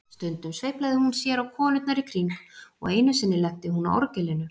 Stundum sveiflaði hún sér á konurnar í kring og einu sinni lenti hún á orgelinu.